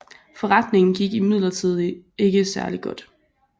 Forretningen gik imidlertid ikke særlig godt